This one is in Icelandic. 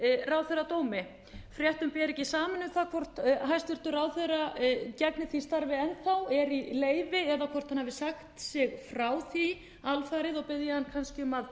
ráðherradómi fréttum ber ekki saman um það hvort hæstvirtur ráðherra gegni því starfi enn þá er í leyfi eða hvort hann hafi sagt sig frá því alfarið og bið ég hann kannski um að